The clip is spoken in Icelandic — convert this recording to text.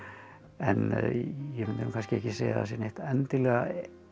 en ég mundi nú kannski ekki segja að það sé neitt endilega